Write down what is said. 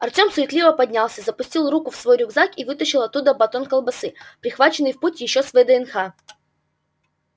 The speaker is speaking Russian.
артём суетливо поднялся запустил руку в свой рюкзак и вытащил оттуда батон колбасы прихваченный в путь ещё с вднх